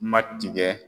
Ma tigɛ